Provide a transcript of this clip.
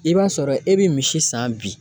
I b'a sɔrɔ e bi misi san bi